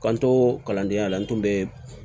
K'an to kalandenya la n kun be